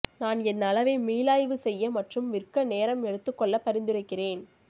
நான் என் அளவை மீளாய்வு செய்ய மற்றும் விற்க நேரம் எடுத்துக்கொள்ள பரிந்துரைக்கிறேன்